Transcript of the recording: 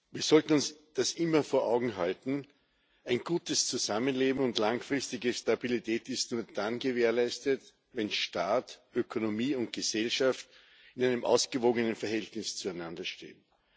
Wir sollten uns das immer vor Augen halten Ein gutes Zusammenleben und langfristige Stabilität sind nur dann gewährleistet, wenn Staat, Ökonomie und Gesellschaft in einem ausgewogenen Verhältnis zueinander stehen.